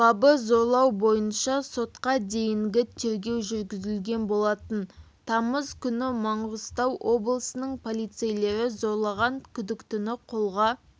бабы зорлау бойынша сотқа дейінгі тергеу жүргізілген болатын тамыз күні маңғыстау облысының полицейлері зорлаған күдіктіні қолға